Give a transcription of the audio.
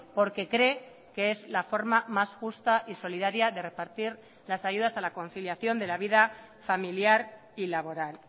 porque cree que es la forma más justa y solidaria de repartir las ayudas a la conciliación de la vida familiar y laboral